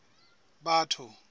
batho